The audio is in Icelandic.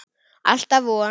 Alltaf von.